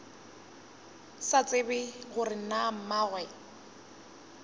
sa tsebe gore na mmagwe